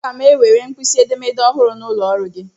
Aga m ewere mkpisi edemede ọhụrụ n'ụlọ ọrụ gị.